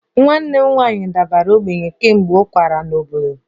Nwanne m nwanyị dara ogbenye kemgbe ọ kwagara n'obodo